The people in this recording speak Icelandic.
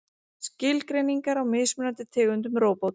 skilgreiningar á mismunandi tegundum róbóta